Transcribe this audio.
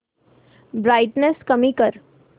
brightness कमी कर